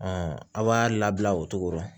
a b'a labila o cogo rɔ